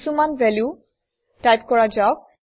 কিছুমান value type কৰা যাওক